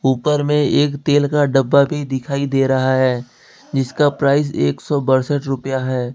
ऊपर में एक तेल का डब्बा भी दिखाई दे रहा है जिसका प्राइज एक सौ बासठ रुपया है।